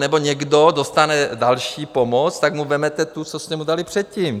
Nebo někdo dostane další pomoc, tak mu vezmete to, co jste mu dali předtím.